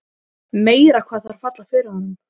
Meira hvað þær falla fyrir honum!